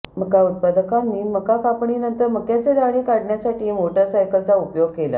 मका उत्पादकांनी मका कापपणीनंतर मक्याचे दाणे काढण्यासाठी मोटारसायकलचा उपयोग केला